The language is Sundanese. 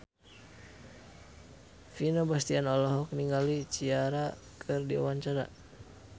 Vino Bastian olohok ningali Ciara keur diwawancara